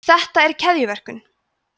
þetta er keðjuverkun